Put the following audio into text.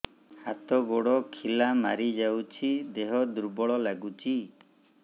ହାତ ଗୋଡ ଖିଲା ମାରିଯାଉଛି ଦେହ ଦୁର୍ବଳ ଲାଗୁଚି